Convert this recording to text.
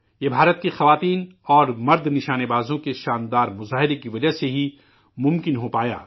یہ ہندوستان کی خواتین اور مرد نشانہ بازوں کے شاندار کارکردگی کی وجہ سے ہی ممکن ہوا